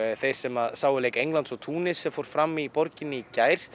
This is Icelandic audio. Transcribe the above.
þeir sem sáu leik Englands og Túnis sem fór fram í borginni í gær